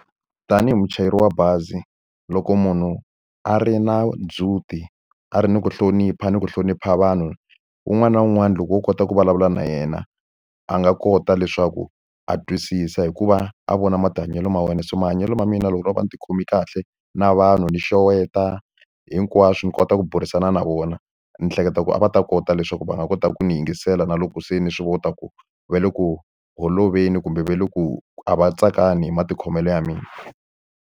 Tanihi muchayeri wa bazi, loko munhu a ri na ndzhuti a ri ni ku hlonipha ni ku hlonipha vanhu, wun'wana na wun'wana loko wo kota ku vulavula na yena a nga kota leswaku a twisisa hi ku va a vona mahanyelo ma wena. Se mahanyelo ma mina loko ku ri a ni tikhome kahle, na vanhu ni xeweta, hinkwaswo ndzi kota ku burisana na vona, ni hleketa ku a va ta kota leswaku va nga kota ku ni yingisela na loko se ni swi vona ku va le ku holoveli kumbe va le ku a va tsakangi hi matikhomelo ya mina.